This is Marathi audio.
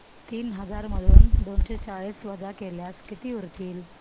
तीन हजार मधून दोनशे चाळीस वजा केल्यास किती उरतील